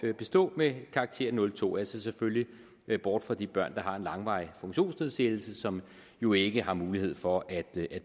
bestå med karakteren 02 jeg ser selvfølgelig bort fra de børn der har en langvarig funktionsnedsættelse som jo ikke har mulighed for at